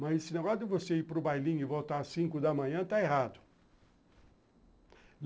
Mas esse negócio de você ir para o bailinho e voltar às cinco da manhã está errado.